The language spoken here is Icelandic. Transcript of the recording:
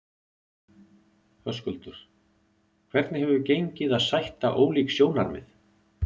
Höskuldur: Hvernig hefur gengið að sætta ólík sjónarmið?